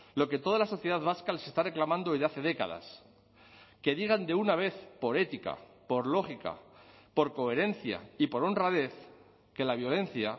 lo que toda la sociedad vasca les está reclamando ya hace décadas que digan de una vez por ética por lógica por coherencia y por honradez que la violencia